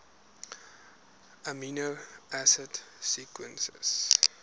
amino acid sequences